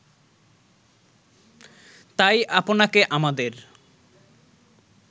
তাই আপনাকে আমাদের